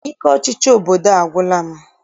Ike ọchịchị obodo a agwụla m.